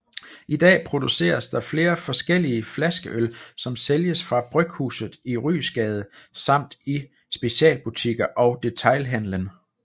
I dag produceres der flere forskellige flaskeøl som sælges fra Bryghuset i Ryesgade samt i specialbutikker og detailhandlen